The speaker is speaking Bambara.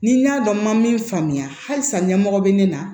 Ni n y'a dɔn n ma min faamuya halisa ɲɛmɔgɔ bɛ ne na